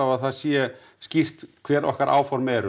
að það sé skýrt hve rokkar áform eru